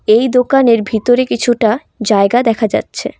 এই দোকানের ভিতরে কিছুটা জায়গা দেখা যাচ্ছে।